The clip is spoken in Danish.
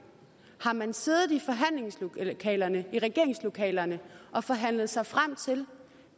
har man siddet i forhandlingslokalerne i regeringslokalerne og forhandlet sig frem til